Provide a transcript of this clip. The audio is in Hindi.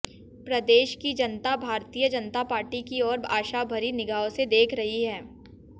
प्रदेश की जनता भारतीय जनता पार्टी की ओर आशा भरी निगाहों से देख रही है